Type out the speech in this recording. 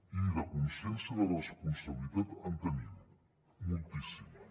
i de consciència i de responsabilitat en tenim moltíssima